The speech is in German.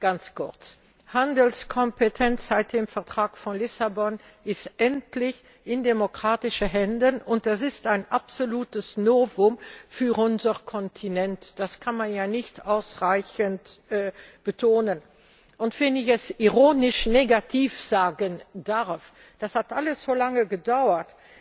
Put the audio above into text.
Ganz kurz Handelskompetenz ist seit dem Vertrag von Lissabon endlich in demokratischen Händen, und das ist ein absolutes Novum für unseren Kontinent das kann man nicht ausreichend betonen. Wenn ich es ironisch negativ sagen darf Das hat alles so lange gedauert,